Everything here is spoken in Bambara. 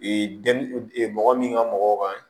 mɔgɔ min ka mɔgɔw kan